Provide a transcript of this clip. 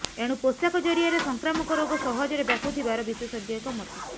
ଏଣୁ ପୋଷାକ ଜରିଆରେ ସଂକ୍ରାମକ ରୋଗ ସହଜରେ ବ୍ୟାପୁଥିବାର ବିଶେଷଜ୍ଞଙ୍କ ମତ